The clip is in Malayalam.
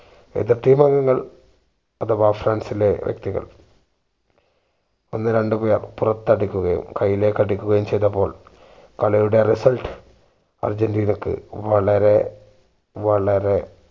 എതിർ team അംഗങ്ങൾ അഥവാ ഫ്രാൻസിലെ വ്യക്തികൾ അന്ന് രണ്ട് പേർ പുറത്തു അടിക്കുകയും കയ്യിലേക്ക് അടിക്കുകയും ചെയ്തപ്പോൾ കളിയുടെ result അര്ജന്റീനക്ക് വളരെ വളരെ